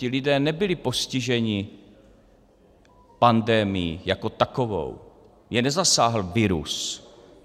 Ti lidé nebyli postiženi pandemií jako takovou, je nezasáhl virus.